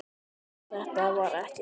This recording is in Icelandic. Við þetta var ekki staðið.